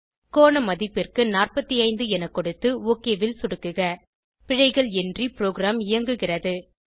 கோண மதிப்பிற்கு 45 என கொடுத்து ஒக் ல் சொடுக்குக பிழைகள் இன்றி ப்ரோகிராம் இயங்குகிறது